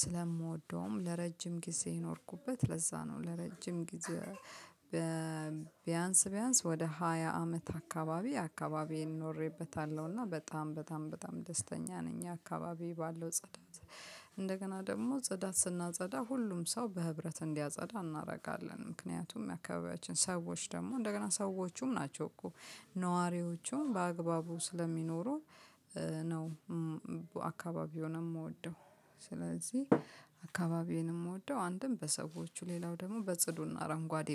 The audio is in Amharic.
ስለምወደውም ለረጅም ጊዜ የኖርኩበት ለዛ ነው። ለረጅም ጊዜ- ቢያንስ ቢያንስ ወደ ሃያ አመት አካባቢ አካባቢዬን ኖሬበታለሁ። እና በጣም በጣም በጣም ደስተኛ ነኝ። አካባቢ ባለው ጸዳት- እንደገና ደግሞ ጸዳት ስናጸዳ ሁሉም ሰው በህብረት እንዲያጸዳ እናደርጋለን። ምክንያቱም የአካባቢያችን ሰዎች ደግሞ እንደገና ሰዎቹም ናቸው እኮ ነዋሪዎቹን በአግባቡ ስለሚኖሩ ነው። አካባቢውን የምወደው ስለዚህ አካባቢዬን የምወደው አንተም በሰዎቹ ሌላው ደግሞ በጽዱና አረንጓዴ።